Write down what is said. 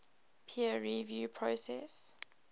peer review process